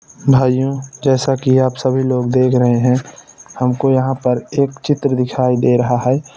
भाइयों जैसा कि आप सभी लोग देख रहै है हमको यहा पर एक चित्र दिखाई दे रहा है।